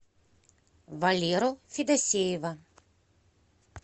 валеру федосеева